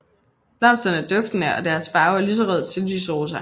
Blomsterne er duftende og deres farve er lysrød til lys rosa